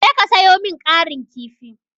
Je ka sayo min ƙarin kifi.